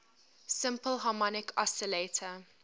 simple harmonic oscillator